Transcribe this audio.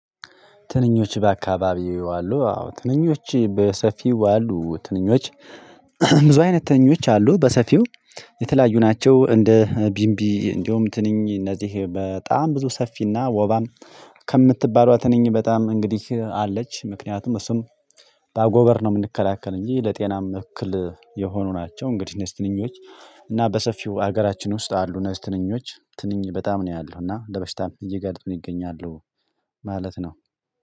ትንኞች በአካባቢው ይውላሉ አዎ ትንኞች በሰፊው አሉ ትንኞች ብዙ አይነት ትንኞች አሉ በሰፊው የተለያዩ ናቸው። እንደ ቢምቢ እንደውም ትንኝ እነዚህ በጣም ብዙ ሰፊና ወባም ከምትባለዋ ትንኝ በጣም እንግዲህ አለች። ምክንያቱም እሱም በአጎበር ነው የምንከላከል እንጂ ለጤናም እክል የሆኑ ናቸው። እንግዲህ እንዚህ ትንኞች እና በሰፊው ሀገራችን ውስጥ አሉ። እነዚህ ትንኞች ትንኝ በጣም ነው ያለው እና ለበሽታም እየጋጠመን ይገኛሉ። ማለት ነው።